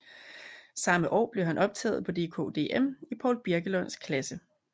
Samme år blev han optaget på DKDM i Poul Birkelunds klasse